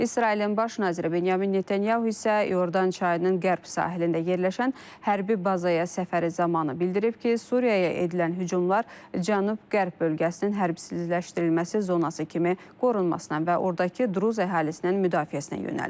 İsrailin baş naziri Binyamin Netanyahu isə İordan çayının qərb sahilində yerləşən hərbi bazaya səfəri zamanı bildirib ki, Suriyaya edilən hücumlar cənub-qərb bölgəsinin hərbsizləşdirilməsi zonası kimi qorunmasına və ordakı Druz əhalisinin müdafiəsinə yönəlib.